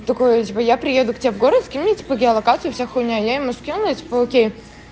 что такое типо я приеду к тебе в город скинь мне типа геолокацию вся хуйня я ему скинул и типо окей